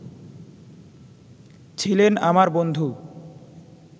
ছিলেন আমার বন্ধু